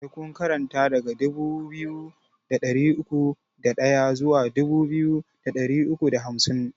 Sai kun karanta daga dubu biyu da ɗari uku da ɗaya zuwa dubu biyu da ɗari uku da hamsin!